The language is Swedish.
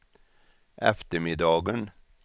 eftermiddagen